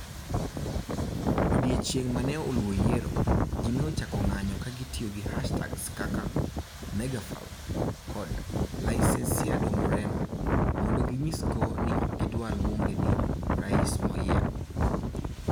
Odiechieng ' ma ne oluwo yiero, ji ne ochako ng'anyo ka gitiyo gi hashtags kaka #Megafraude kod #LicenciadoMoreno, mondo ginyisgo ni ok gidwar luonge ni "Rais Moyier":